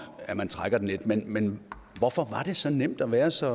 at man trækker den lidt men men hvorfor var det så nemt at være så